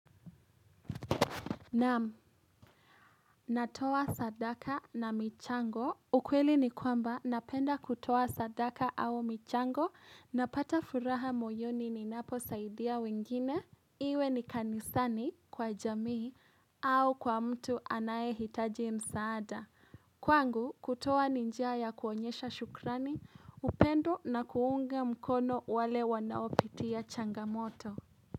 Nam, natoa sadaka na michango, ukweli ni kwamba napenda kutoa sadaka au michango, napata furaha moyoni ninapo saidia wengine, iwe ni kanisani, kwa jamii, au kwa mtu anaye hitaji msaada. Kwangu, kutoa ni njia ya kuonyesha shukrani, upendo na kuunga mkono wale wanaopitia changamoto.